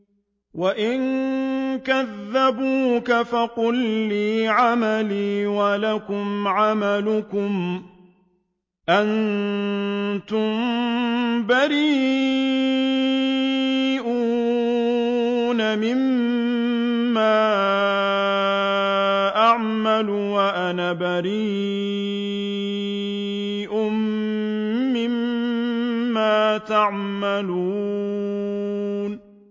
وَإِن كَذَّبُوكَ فَقُل لِّي عَمَلِي وَلَكُمْ عَمَلُكُمْ ۖ أَنتُم بَرِيئُونَ مِمَّا أَعْمَلُ وَأَنَا بَرِيءٌ مِّمَّا تَعْمَلُونَ